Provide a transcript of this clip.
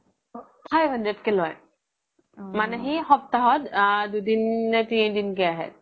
five hundred কে লই মানে সি সপ্তহাত দুদিন নে তিনিদিন কে আহে